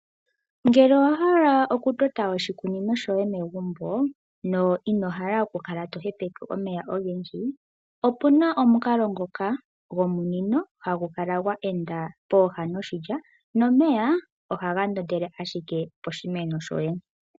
Ngele owa hala okutota oshikunino shoye megumbo no ino hala oku kala to hepeke omeya ogendji, opuna omukalo ngoka gominino hagu kala gwa enda pooha noshilya nomeya ohaga ndondele ashike poshimeno shoye.